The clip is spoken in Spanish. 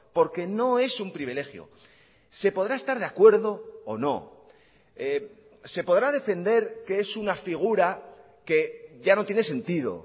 porque no es un privilegio se podrá estar de acuerdo o no se podrá defender que es una figura que ya no tiene sentido